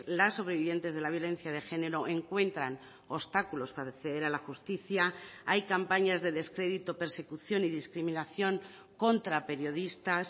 las sobrevivientes de la violencia de género encuentran obstáculos para acceder a la justicia hay campañas de descrédito persecución y discriminación contra periodistas